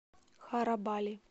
харабали